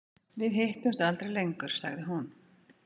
Við hittumst aldrei lengur, sagði hún.